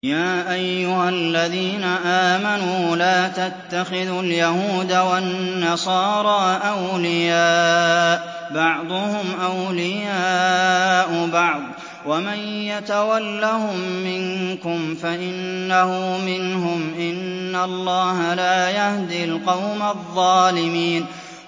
۞ يَا أَيُّهَا الَّذِينَ آمَنُوا لَا تَتَّخِذُوا الْيَهُودَ وَالنَّصَارَىٰ أَوْلِيَاءَ ۘ بَعْضُهُمْ أَوْلِيَاءُ بَعْضٍ ۚ وَمَن يَتَوَلَّهُم مِّنكُمْ فَإِنَّهُ مِنْهُمْ ۗ إِنَّ اللَّهَ لَا يَهْدِي الْقَوْمَ الظَّالِمِينَ